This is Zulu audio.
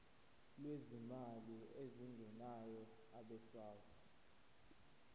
lwezimali ezingenayo abesouth